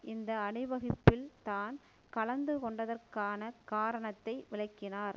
இந்த அணிவகுப்பில் தான் கலந்து கொண்டதற்கான காரணத்தை விளக்கினார்